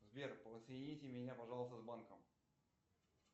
сбер соедините меня пожалуйста с банком